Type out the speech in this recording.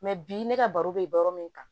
bi ne ka baro be yɔrɔ min kan